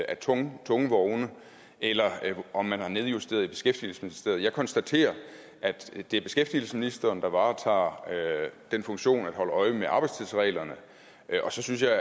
af tunge tunge vogne eller om man har nedjusteret i beskæftigelsesministeriet jeg konstaterer at det er beskæftigelsesministeren der varetager den funktion at holde øje med arbejdstidsreglerne og så synes jeg